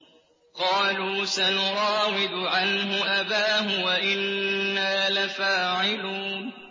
قَالُوا سَنُرَاوِدُ عَنْهُ أَبَاهُ وَإِنَّا لَفَاعِلُونَ